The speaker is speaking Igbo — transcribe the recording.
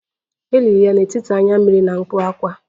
E liri ya n'etiti anya mmiri na mkpu ákwá